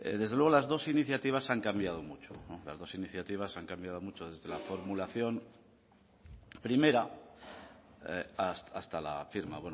desde luego las dos iniciativas han cambiado mucho las dos iniciativas han cambiado mucho desde la formulación primera hasta la firma